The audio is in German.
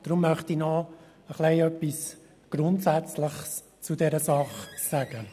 Deshalb möchte ich noch etwas Grundsätzliches zu dieser Angelegenheit sagen.